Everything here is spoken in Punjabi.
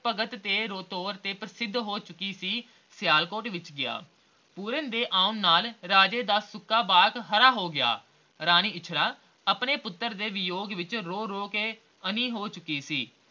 ਭਗਤ ਦੇ ਤੋਰ ਤੇ ਪ੍ਰਸਿੱਧ ਹੋ ਚੁਕਿਆ ਸੀ, ਸਿਆਲਕੋਟ ਵਿਚ ਗਿਆ ਪੂਰਨ ਦੇ ਆਉਣ ਨਾਲ ਰਾਜੇ ਦਾ ਸੁੱਕਾ ਬਾਗ ਹਰਾ ਹੋ ਗਿਆ ਰਾਣੀ ਇੱਛਰਾਂ ਆਪਣੇ ਪੁੱਤਰ ਦੇ ਵਿਜੋਗ ਵਿਚ ਰੋ ਰੋ ਕੇ ਅੰਨ੍ਹੀ ਹੋ ਚੁੱਕੀ ਸੀ